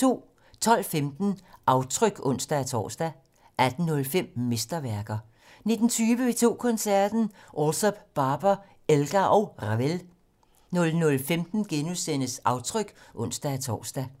12:15: Aftryk (ons-tor) 18:05: Mesterværker 19:20: P2 Koncerten - Alsop, Barber, Elgar & Ravel 00:15: Aftryk *(ons-tor)